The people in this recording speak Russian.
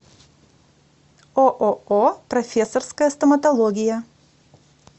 ооо профессорская стоматология